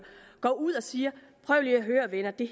går ud og siger prøv lige at høre her venner det